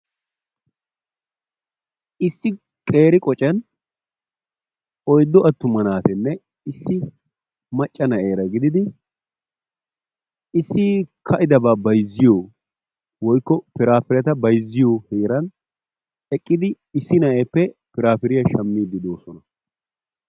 Issi qeeri qoccan oyddu attuma naaturanne issi macca na'eera giididi issi ka'idaaba bayzziyoo woykko piraapiretta bayzziyoo heeran eqqidi issi na'eeppe piraapiriyaa shaammidi de'oosona.